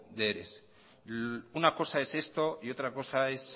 de eres una cosa es esto y otra cosa es